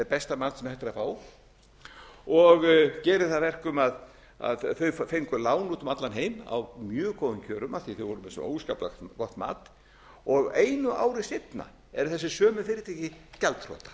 besta mat sem hægt er að fá og gerir það að verkum að þau fengu lán út um allan heim á mjög góðum kjörum af því þau voru með svo óskaplega gott mat og einu ári seinna eru þessi sömu fyrirtæki gjaldþrota